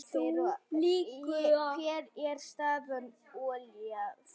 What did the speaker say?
Hver er staðan Ólafía?